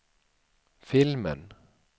filmen